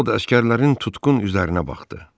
Ovod əsgərlərin tutqun üzünə baxdı.